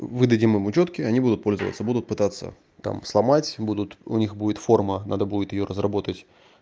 выдадим им учетки они будут пользоваться будут пытаться там сломать будут у них будет форма надо будет её разработать